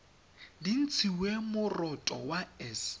di ntshiwe moroto wa s